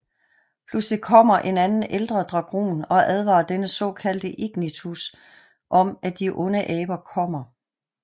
Pludselig kommer en anden Elder Dragon og advarer denne såkaldte Ignitus om at de onde aber kommer